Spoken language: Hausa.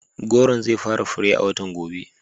Gworon zai fara fure a watan gobe.